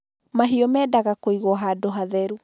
Mahiũ mendaga kũigwo handũ hatheru